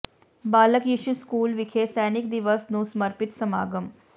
ਬਾਲਕ Yishu school ਵਿਖੇ ਸੈਨਿਕ ਦਿਵਸ ਨੂੰ ਸਮਰਪਿਤ ਸਮਾਗਮ